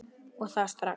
Og það strax.